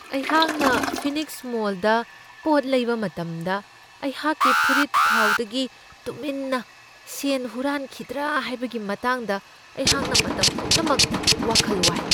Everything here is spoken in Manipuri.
ꯑꯩꯍꯥꯛꯅ ꯐꯤꯅꯤꯛꯁ ꯃꯣꯜꯗ ꯄꯣꯠ ꯂꯩꯕ ꯃꯇꯝꯗ ꯑꯩꯍꯥꯛꯀꯤ ꯐꯨꯔꯤꯠꯈꯥꯎꯗꯒꯤ ꯇꯨꯃꯤꯟꯅ ꯁꯦꯟ ꯍꯨꯔꯥꯟꯈꯤꯗ꯭ꯔꯥ ꯍꯥꯏꯕꯒꯤ ꯃꯇꯥꯡꯗ ꯑꯩꯍꯥꯛꯅ ꯃꯇꯝ ꯄꯨꯝꯅꯃꯛꯇ ꯋꯥꯈꯜ ꯋꯥꯏ ꯫